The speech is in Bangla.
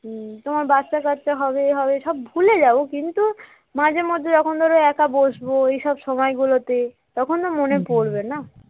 উম তোমার বাচ্চা কাচ্চা হবে এ হবে সব ভুলে যাব কিন্তু মাঝে মধ্যে যখন ধর একা বসবো এই সব সময়গুলোতে তখন না মনে পড়বে না